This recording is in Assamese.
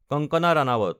কংগনা ৰাণাওত